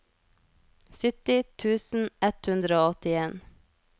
sytti tusen ett hundre og åttien